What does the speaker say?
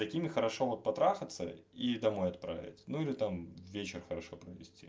какими хорошо вот патрахаться и домой отправлять ну или там вечер хорошо провести